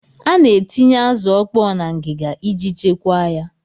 A na-etinye azụ ọkpọọ na ngịga iji chekwaa ya.